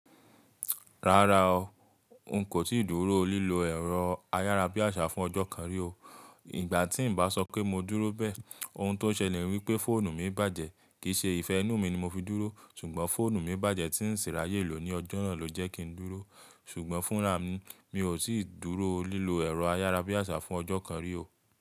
Rárá o, ǹ kò tíì dúró lílọ ẹ̀rọ ayárabíàṣá fún ọjọ́ kan rí o. Ìgbà tí ǹ bá sọ pé mo dúró bẹ́ẹ̀, ohun tó ṣẹlẹ̀ ni wípé fóònù mi bàjẹ́. Kìí ṣe ìfẹ́ inú mi ni mo fi dúró, ṣùgbọ́n fóònù mi bàjẹ́ tí ń ṣin rí ayé lò ní ọjọ́ náà ló jẹ́ kí ń dúró. Ṣùgbọ́n fún rà mi, mi ò tí dúró lílọ ẹ̀rọ ayárabíàṣá fún ọjọ́ kan rí o.